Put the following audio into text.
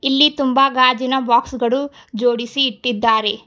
ಇಲ್ಲಿ ತುಂಬಾ ಗಾಜಿನ ಬಾಕ್ಸ್ ಗಳು ಜೋಡಿಸಿ ಇಟ್ಟಿದ್ದಾರೆ.